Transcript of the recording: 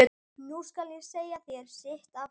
Nú skal ég segja þér sitt af hverju.